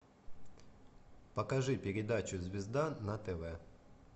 покажи передачу звезда на тв